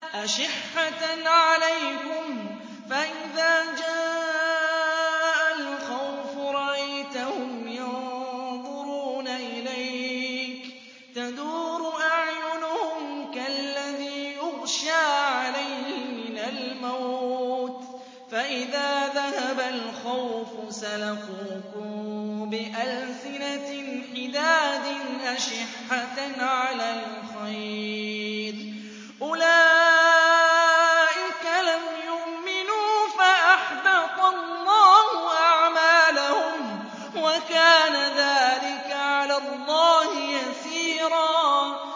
أَشِحَّةً عَلَيْكُمْ ۖ فَإِذَا جَاءَ الْخَوْفُ رَأَيْتَهُمْ يَنظُرُونَ إِلَيْكَ تَدُورُ أَعْيُنُهُمْ كَالَّذِي يُغْشَىٰ عَلَيْهِ مِنَ الْمَوْتِ ۖ فَإِذَا ذَهَبَ الْخَوْفُ سَلَقُوكُم بِأَلْسِنَةٍ حِدَادٍ أَشِحَّةً عَلَى الْخَيْرِ ۚ أُولَٰئِكَ لَمْ يُؤْمِنُوا فَأَحْبَطَ اللَّهُ أَعْمَالَهُمْ ۚ وَكَانَ ذَٰلِكَ عَلَى اللَّهِ يَسِيرًا